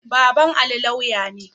Baban Ali lauya ne.